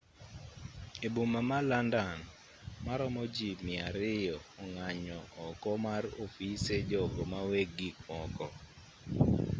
e boma ma landan maromo ji 200 ong'anyo oko mar ofise jogo maweg gikmoko